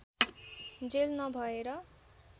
jail नभएर